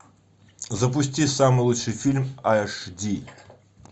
запусти самый лучший фильм аш ди